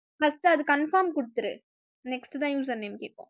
first அது confirm குடுத்துரு next தான் user name கேக்கும்